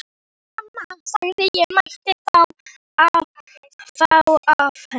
Mamma sagði að ég mætti fá af henni.